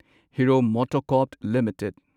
hero MotoCorp limited